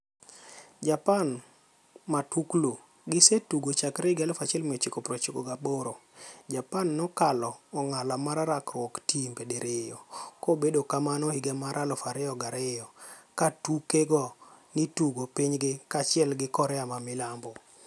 Japan Matuklu: Gisetugo chakre 1998, Japan ne okalo ong'ala mar rakruok timbe diriyo, kobedo kamano higa mar 2002 katuke go ni tugo pinygi kaachiel gi Korea ma milambo.